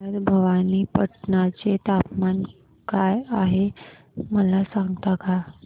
आज भवानीपटना चे तापमान काय आहे मला सांगता का